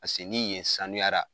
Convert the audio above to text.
ni yen sanuyara.